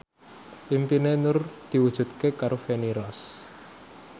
impine Nur diwujudke karo Feni Rose